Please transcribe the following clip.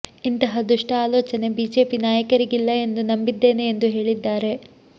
ಇಂತಹ ದುಷ್ಟ ಆಲೋಚನೆ ಬಿಜೆಪಿ ನಾಯಕರಿಗಿಲ್ಲ ಎಂದು ನಂಬಿದ್ದೇನೆ ಎಂದು ಹೇಳಿದ್ದಾರೆ